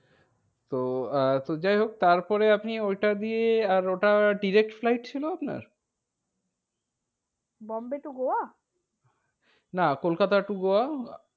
তো আহ তো যাই হোক তারপরে আপনি ওইটা দিয়ে আর ওইটা direct flight ছিল আপনার? বোম্বে to গোয়া? না, কলকাতা to গোয়া?